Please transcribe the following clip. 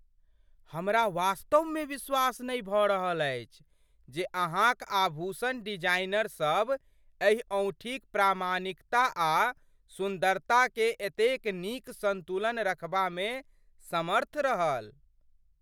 हमरा वास्तवमे विश्वास नहि भऽ रहल अछि जे अहाँक आभूषण डिजाइनर सब एहि औँठीक प्रामाणिकता आ सुन्दरताकेँ एतेक नीक सन्तुलन रखबामे समर्थ रहल।